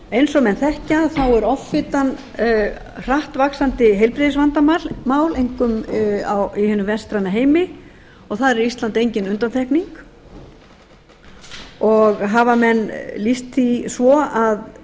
eins og menn þekkja er offitan hratt vaxandi heilbrigðisvandamál einkum í hinum vestræna heimi og þar er ísland engin undantekning hafa menn lýst því svo að